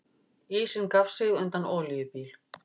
Ísinn gaf sig undan olíubíl